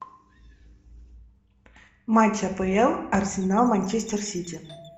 матч апл арсенал манчестер сити